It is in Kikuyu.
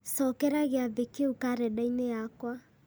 cokera gĩathĩ kĩu karenda-inĩ yakwa